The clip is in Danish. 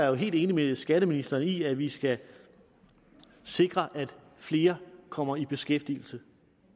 jo helt enig med skatteministeren i at vi skal sikre at flere kommer i beskæftigelse